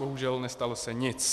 Bohužel, nestalo se nic.